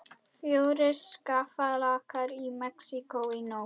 Fjórir skjálftar í Mexíkó í nótt